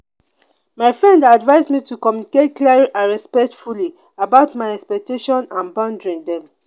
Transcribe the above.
my friend dey advise me to communicate clearly and respectfully about my expectation and boundary dem.